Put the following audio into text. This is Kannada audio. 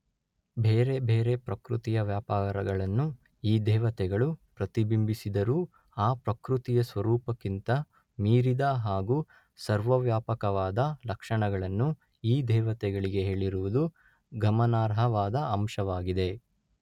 ಬೇರೆ ಬೇರೆ ಪ್ರಕೃತಿಯ ವ್ಯಾಪಾರಗಳನ್ನು ಈ ದೇವತೆಗಳು ಪ್ರತಿಬಿಂಬಿಸಿದರೂ ಆ ಪ್ರಕೃತಿಯ ಸ್ವರೂಪಕ್ಕಿಂತ ಮೀರಿದ ಹಾಗೂ ಸರ್ವವ್ಯಾಪಕವಾದ ಲಕ್ಷಣಗಳನ್ನು ಈ ದೇವತೆಗಳಿಗೆ ಹೇಳಿರುವುದು ಗಮನಾರ್ಹವಾದ ಅಂಶವಾಗಿದೆ.